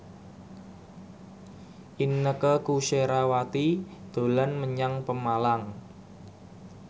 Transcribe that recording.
Inneke Koesherawati dolan menyang Pemalang